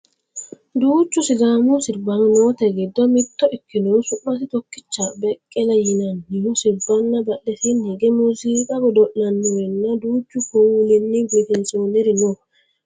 duuchu sidaamu sirbaano noote giddo mitto ikinohu su'masi tokkicha beqqele yinannihu sirbanna badhesiini hige muziiqa godo'lannorinna duuchu kuulinni biifinsoonniri no